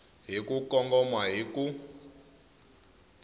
hi ku kongoma hi ku